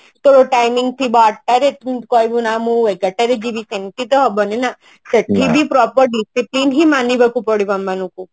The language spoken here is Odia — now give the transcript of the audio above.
ତୋ timing ଥିବ ଆଠଟା ରେ ତୁ କହିବୁ ନା ମୁଁ ଏଗାରଟା ରେ ଯିବି ସେମତି ତ ହବନି ନା ସେଠିବି proper discipline ହିଁ ମଣିବାକୁ ପଡିବ ଆମମାନଙ୍କୁ